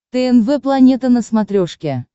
тнв планета на смотрешке